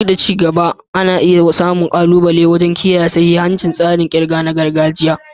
Duk da ci gaba, ana iya samun ƙalubale wajen kiyaye sahihancin tsarin ƙirga na gargajiya.